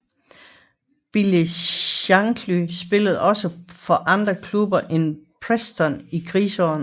Bill Shankly spillede også for andre klubber end Preston i krigsårene